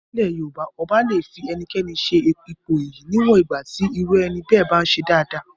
Nílẹ̀ Yorùbá ọba le fi ẹnikẹ́ni sí ipò iyì níwọ̀n ìgbà tí irú ẹni bẹ́ẹ̀ bá ń ṣe dáadáa.